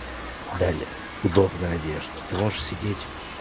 далее удобная одежда ты можешь сидеть